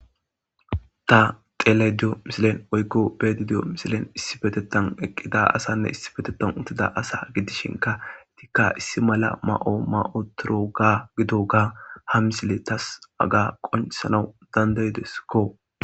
ta xelediyo misilen oykko beedidiyo misilen issi fetetan eqqida asanne issi betetan uttida asa gidishinka tikka issi mala ma7o ma7otoroga gido ga ha misile tas aga qoncisana dandaydeskko